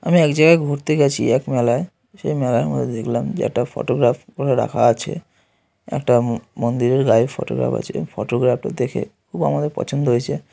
আমি এক জায়গায় ঘুরতে গেছি এক মেলায় সেই মেলার মধ্যে দেখলাম যে একটা ফটোগ্রাফ করে রাখা আছে। একটা মন্দিরের গায়ে ফটোগ্রাফ আছে ফটোগ্রাফটা দেখে খুব আমাদের পছন্দ হয়েছে।